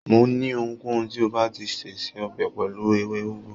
Mo ní ohunkóhun tí o báà ti se, se ọbẹ̀ pẹ̀lú ewé úgú.